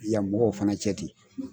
Yan mɔgɔw fana cɛ ten.